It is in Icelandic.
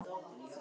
En gerði lítið.